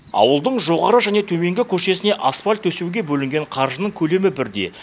ауылдың жоғары және төменгі көшесіне асфальт төсеуге бөлінген қаржының көлемі бірдей